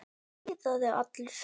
Emil iðaði allur.